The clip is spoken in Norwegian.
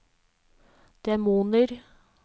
demoner